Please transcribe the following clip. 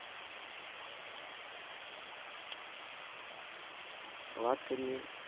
વાત કરીએ